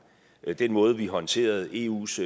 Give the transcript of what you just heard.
den måde vi håndterede eus